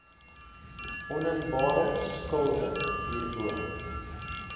oninbare skulde hierbo